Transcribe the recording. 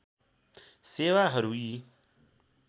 सेवाहरू यी